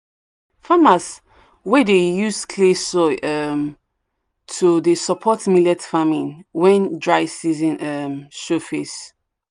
farmers wey dey use clay um soil to dey support millet farming when dry season um show um face.